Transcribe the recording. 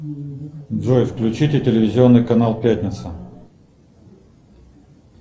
джой включите телевизионный канал пятница